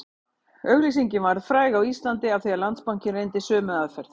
Auglýsingin varð fræg á Íslandi af því Landsbankinn reyndi sömu aðferð